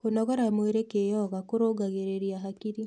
Kũnogora mwĩrĩ kĩyoga kũrũngagĩrĩrĩa hakĩrĩ